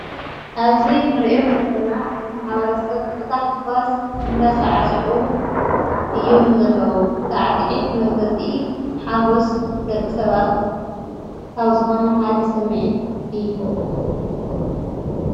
ኣብዚ እንርኦም ዘለና ማሕበረሰብ ብታሓጓስ እንዳሳዕስዑ እዮም ዘለው። ሳዕሲዒት መግለሊፂ ሓጎስ ደቂ ሰባት ሓደ ካብዝኾነ ሓደ ስሚዒት እዩ።